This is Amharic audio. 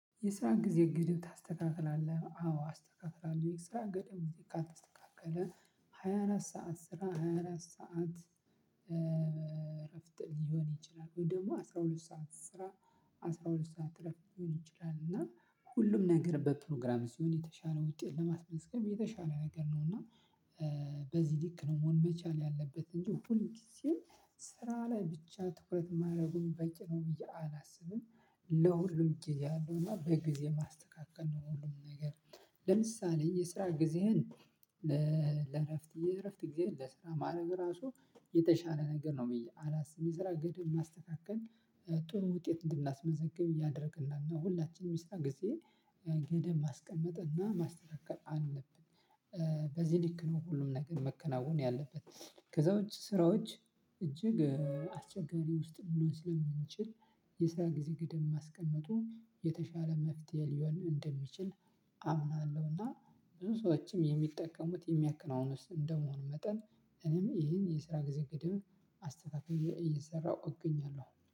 የስራ ጊዜ ገደብ ታስተካክላለህ? አዎ አስተካክላለሁ። የስራ ገደብ ካልተስተካከለ ሃያ አራት ሰዓት ስራ ሃያ አራት ሰዓት እረፍት ሊሆን ይችላል። ወይ ደግሞ አስራ ሁለት ሰዓት ስራ አስራ ሁለት ሰዓት እረፍት ሊሆን ይችላል እና ሁሉም ነገር በፕሮግራም ሲሆን የተሻለ ውጤት ልማት መስቀል የተሻለ ነገር ነው እና በዚህ ልክ ነው መሆን መቻል ያለበት እንጂ ሁል ጊዜም ስራ ላይ ብቻ ትኩረት ማድረጉን በቂ ነው ብዬ አላስብም። ለሁሉም ጊዜ አለው እና በጊዜ ማስተካከል ነው ሁሉም ነገር ለምሳሌ የስራ ጊዜህን ለእረፍት የእረፍት ጊዜህን ለስራ ማዕረግ ራሱ የተሻለ ነገር ነው አላስብም የስራ ገደብ ማስተካከል ጥሩ ውጤት እንድናስመዘግብ ያደርግናል እና ሁላችንም የስራ ጊዜ ገደብ ማስቀመጥ እና ማስተካከል አለብን። በዚህ ልክ ነው ሁሉም ነገር መከናወን ያለበት ከዛ ውጭ ስራዎች እጅግ አስቸጋሪ ውስጥ ልንሆን ስለምንችል የስራ ጊዜ ገደብ ማስቀመጡ የተሻለ መፍትሄ ሊሆን እንደሚችል አምናለሁ። እና ብዙ ሰዎችም የሚጠቀሙት የሚያከናውኑት እንደመሆኑ መጠን እኔም ይሄን የስራ ጊዜ ገደብ አስተካክየ እየሰራሁ እገኛለሁ።